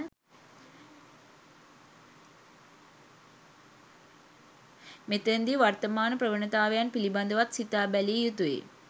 මෙතැන දී වර්තමාන ප්‍රවණතාවන් පිළිබඳවත් සිතා බැලිය යුතු යි.